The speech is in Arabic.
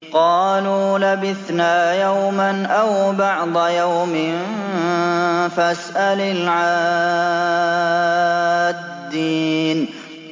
قَالُوا لَبِثْنَا يَوْمًا أَوْ بَعْضَ يَوْمٍ فَاسْأَلِ الْعَادِّينَ